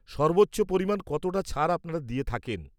সর্বোচ্চ পরিমাণ কতটা ছাড় আপনারা দিয়ে থাকেন?